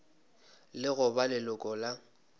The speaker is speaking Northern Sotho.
le go ba leloko la